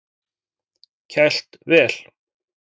Kælt vel.